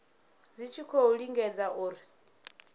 dzi tshi khou lingedza uri